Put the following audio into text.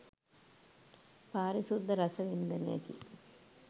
පාරිශුද්ධ රස වින්දනයකි.